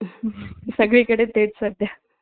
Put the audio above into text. असं आ